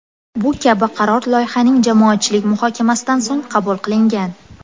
Bu kabi qaror loyihaning jamoatchilik muhokamasidan so‘ng qabul qilingan.